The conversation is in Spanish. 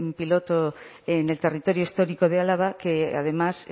piloto en el territorio histórico de álava que además